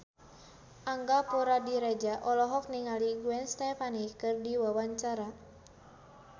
Angga Puradiredja olohok ningali Gwen Stefani keur diwawancara